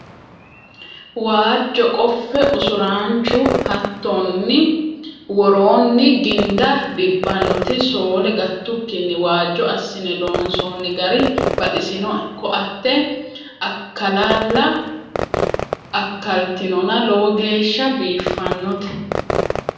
Waajo qofe usuranchu hattonk worooni ginda dibbanoti sole gatukkinni waajjo assine loonsonni gari baxisinoe koatte akalala akaltinonna lowo geeshsha biifanote.